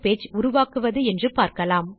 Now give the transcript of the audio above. இந்த tutorialக்கு குரல் கொடுத்தது ஐட் பாம்பே லிருந்து பிரியா